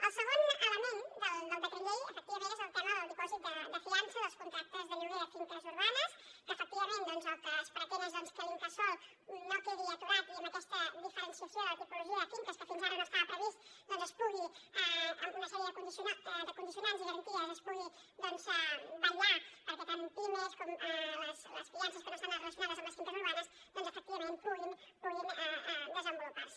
el segon element del decret llei efectivament és el tema del dipòsit de fiança dels contractes de lloguer de finques urbanes que efectivament el que es pretén és que l’incasòl no quedi aturat i amb aquesta diferenciació de la tipologia de finques que fins ara no estava previst doncs amb una sèrie de condicionants i garanties es pugui vetllar perquè tant pimes com les fiances que no estan relacionades amb les finques urbanes efectivament puguin desenvolupar se